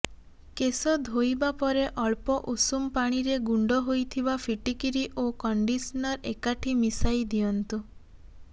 କେଶ ଧୋଇବା ପରେ ଅଳ୍ପ ଉଷୁମ ପାଣିରେ ଗୁଣ୍ଡ ହୋଇଥିବା ଫିଟିକିରି ଓ କଣ୍ଡିସନର ଏକାଠି ମିଶାଇ ଦିଅନ୍ତୁ